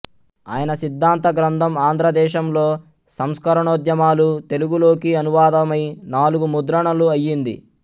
ఆయన సిద్ధాంత గ్రంథం ఆంధ్రదేశంలో సంస్కరణోద్యమాలు తెలుగులోకి అనువాదమై నాలుగు ముద్రణలు అయ్యింది